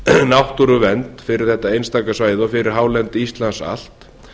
náttúruvernd fyrir þetta einstaka svæði og fyrir hálendi íslands allt